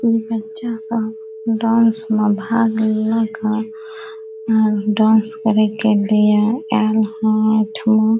इ बच्चा सब डांस में भाग लेलक हेय डांस करे के लिए ऐल ये एठम --